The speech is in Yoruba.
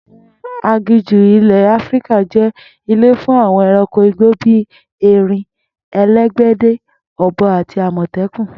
Àwo̩n aginjù ilè̩ Áfíríkà jé̩ ilé fún àwo̩n e̩ranko igbo bí erin, elégbèdè, ò̩bo̩ àti àmò̩té̩kùn